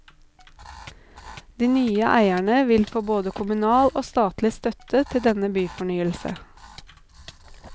De nye eierne vil få både kommunal og statlig støtte til denne byfornyelse.